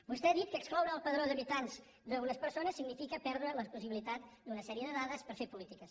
vostè ha dit que excloure del padró d’habitants unes persones significa perdre la possibilitat d’una sèrie de dades per fer polítiques